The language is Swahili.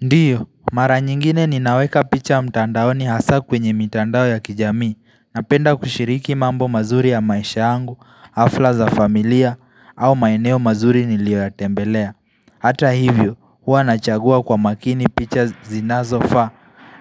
Ndio mara nyingine ninaweka picha mtandaoni hasa kwenye mitandao ya kijamii napenda kushiriki mambo mazuri ya maisha yangu hafla za familia au maeneo mazuri nilioyatembelea Hata hivyo huwa nachagua kwa makini picha zinazofaa